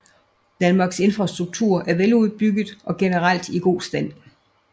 Danmarks infrastruktur er veludbygget og generelt i god stand